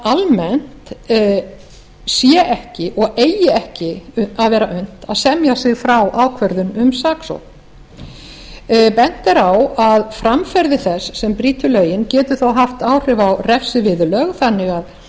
að almennt sé ekki og eigi ekki að vera unnt að semja sig frá ákvörðun um saksókn bent er á að framferði þess sem brýtur lögin geti þá haft áhrif á refsiviðurlög þannig að